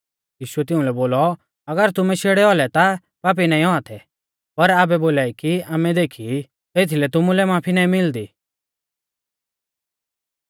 यीशुऐ तिउंलै बोलौ अगर तुमै शेड़ै औलै ता पापी नाईं औआ थै पर आबै बोलाई कि आमै देखी ई एथीलै तुमुलै माफी नाईं मिलदी